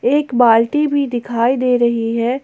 एक बाल्टी भी दिखाई दे रही है।